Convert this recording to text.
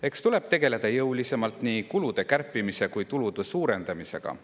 Eks tuleb tegeleda jõulisemalt nii kulude kärpimise kui ka tulude suurendamisega.